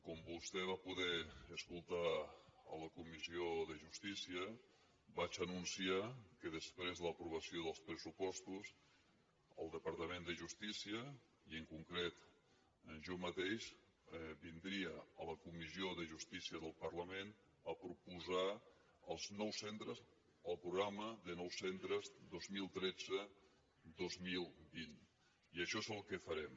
com vostè va poder escoltar a la comissió de justícia vaig anunciar que després de l’aprovació dels pressupostos el departament de justícia i en concret jo mateix vindria a la comissió de justícia del parlament a proposar el programa de nous centres dos mil tretze dos mil vint i això és el que farem